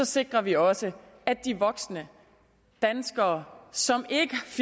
sikrer vi også at de voksne danskere som